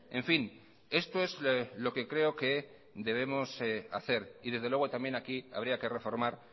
en fin esto es lo que creo que debemos hacer y desde luego también aquí habría que reformar